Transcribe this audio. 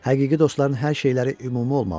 Həqiqi dostların hər şeyləri ümumi olmalıdır.